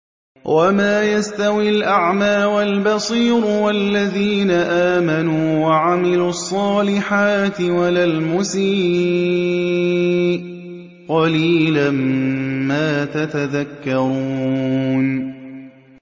وَمَا يَسْتَوِي الْأَعْمَىٰ وَالْبَصِيرُ وَالَّذِينَ آمَنُوا وَعَمِلُوا الصَّالِحَاتِ وَلَا الْمُسِيءُ ۚ قَلِيلًا مَّا تَتَذَكَّرُونَ